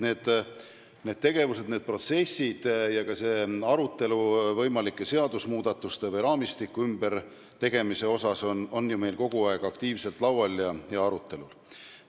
Need tegevused, need protsessid ja ka see arutelu võimalike seadusemuudatuste või raamistiku ümbertegemise üle on ju meil kogu aeg aktiivselt arutelul.